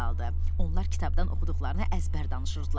Onlar kitabdan oxuduqlarını əzbər danışırdılar.